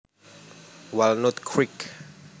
Walnut Creek